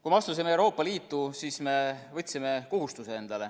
Kui me astusime Euroopa Liitu, siis me võtsime endale kohustuse.